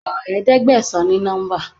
Kọ Ẹ̀ẹ́dẹ̀gbẹ̀sán ní nọ́ḿbà!